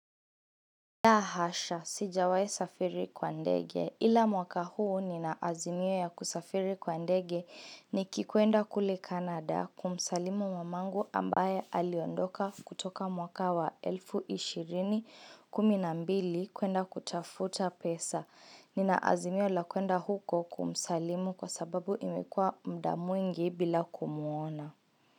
La hasha, sijawai safiri kwa ndege. Ila mwaka huu ninaazimio ya kusafiri kwa ndege nikikuenda kule Canada kumsalimu mamangu ambaye aliondoka kutoka mwaka wa elfu ishirini kumi na mbili, kuenda kutafuta pesa. Ninaazimio la kuenda huko kumsalimu kwa sababu imekuwa muda mwingi bila kumuona.